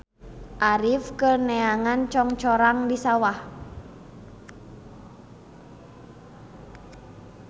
Arif keur neangan congcorang di sawah